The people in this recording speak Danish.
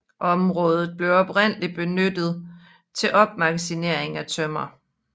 Området blev oprindeligt benyttet til opmagasinering af tømmer